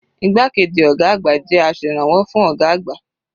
Igbákejì ọ̀gá àgbà jẹ́ aserànwọ́ fún ọ̀gá àgbà.